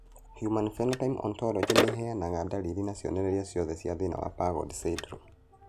Human Phenotype Ontology ĩheanaga ndariri na cionereria ciothe cia thĩna wa PAGOD syndrome?